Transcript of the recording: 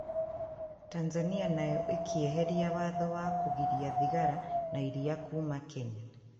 Tanzania nayo ĩkieheria watho wa kũgiria thigara na iria kuuma Kenya